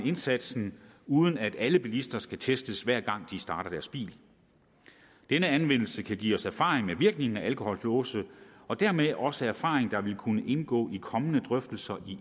indsatsen uden at alle bilister skal testes hver gang de starter deres bil denne anvendelse kan give os erfaringer med virkningen af alkolåse og dermed også erfaring der vil kunne indgå i kommende drøftelser